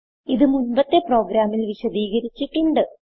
ഇത് മുൻപത്തെ പ്രോഗ്രാമിൽ വിശദീകരിച്ചിട്ടുണ്ട്